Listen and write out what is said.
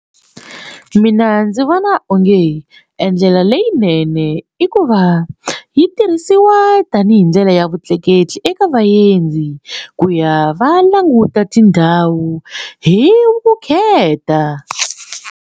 Mina ndzi vona onge e ndlela leyinene i ku va yi tirhisiwa tanihi ndlela ya vutleketli eka vaendzi ku ya va languta tindhawu hi vukheta.